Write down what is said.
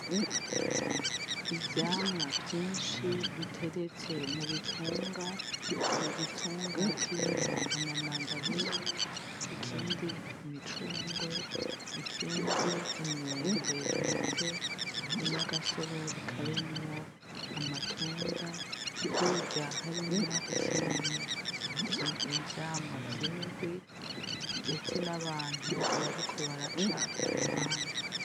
Ivyamwa vyinshi biteretse mu bitunga igitunga kirimwo ama mandarine ikindi imicungwe ikindi imyembe ndetse n'agasorori karimwo amatunda hirya harimwo ikirimwo ivyamwa vy'imihwi ndetse n'abantu bariko baraca kuruhande.